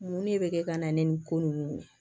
Mun de bɛ kɛ ka na ni ko ninnu ye